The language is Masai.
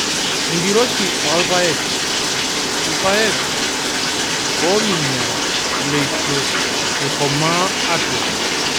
Enkiroshi oolpayek, ilpayek oominyara leitu eikomaa atua.